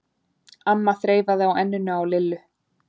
amma þreifaði á enninu á Lillu.